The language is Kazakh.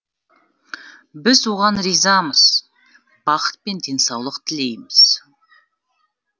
біз оған ризамыз бақыт пен денсаулық тілейміз